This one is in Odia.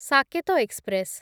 ସାକେତ ଏକ୍ସପ୍ରେସ୍